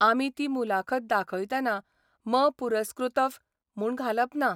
आमी ती मुलाखत दाखयतना मपुरस्कृतफ म्हूण घालप ना.